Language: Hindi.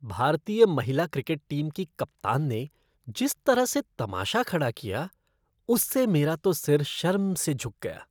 भारतीय महिला क्रिकेट टीम की कप्तान ने जिस तरह से तमाशा खड़ा किया, उससे मेरा तो सिर शर्म से झुक गया।